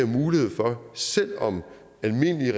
mulighed for selv om almindelige